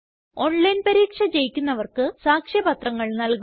online പരീക്ഷ ജയിക്കുന്നവര്ക്ക് സാക്ഷ്യപത്രങ്ങള് നല്കുന്നു